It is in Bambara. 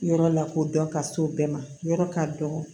Yɔrɔ lakodɔn ka s'o bɛɛ ma yɔrɔ ka dɔgɔ